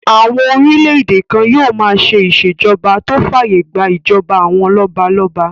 Àwọn orílẹ̀-èdè kan yóò máa ṣe ìṣèjọba tó fàyè gbà ìjọba àwọn lọ́balọ́ba